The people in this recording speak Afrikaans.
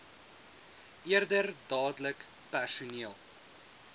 eerder dadelik personeel